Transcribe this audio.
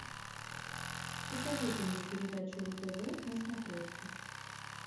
посоветуй мне передачу ру тв на смотрешке